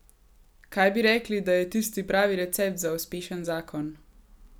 Kaj bi rekli, da je tisti pravi recept za uspešen zakon?